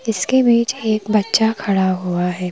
इसके बीच एक बच्चा खड़ा हुआ है।